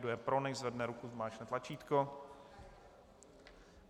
Kdo je pro, nechť zvedne ruku, zmáčkne tlačítko.